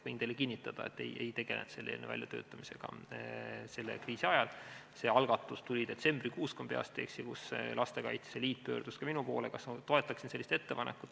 Võin teile kinnitada, et me ei tegelenud selle eelnõu väljatöötamisega kriisi ajal, see algatus tuli detsembrikuus, kui ma peast öeldes ei eksi, kui Lastekaitse Liit pöördus ka minu poole, küsides, kas ma toetaksin sellist ettepanekut.